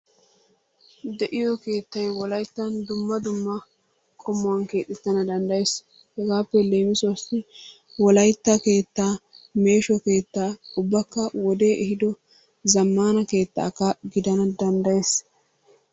De'iyo keettay wolayttan dumma dumma qommuwan keexxettana danddayees. Hegaappe leemissuwaassi wolaytta keettaa meesho keettaa, ubbakka wodee ehiiddo zammana keettaakka gidana danddayees.